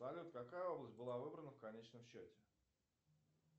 салют какая область была выбрана в конечном счете